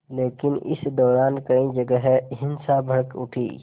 लेकिन इस दौरान कई जगह हिंसा भड़क उठी